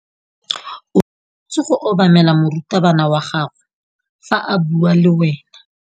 O tshwanetse go obamela morutabana wa gago fa a bua le wena.